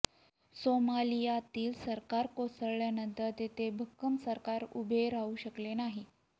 सोमालियातील सरकार कोसळल्यानंतर तेथे भक्कम सरकार उभे राहू शकले नाही